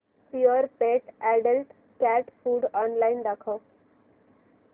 Purepet adult cat food online दाखव